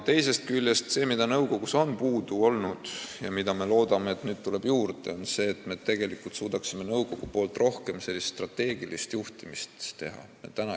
Teisest küljest, see, millest nõukogus on puudus olnud, ja mida meie lootuse kohaselt nüüd juurde tuleb, on see, et nõukogu suudaks rohkem strateegilise juhtimisega tegelda.